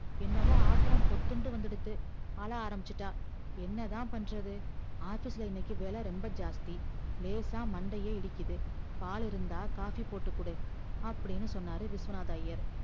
என்னமோ ஆத்தரம் பொத்துண்டு வந்துடுது அழ ஆரம்பிச்சிட்டா என்னதா பண்றது office ல இன்னைக்கி வேல ரொம்ப ஜாஸ்த்தி லேசா மண்டைய இடிக்கிது பாலு இருந்தா coffee போட்டுகுடு அப்டின்னு சொன்னார் விஸ்வநாத ஐயர்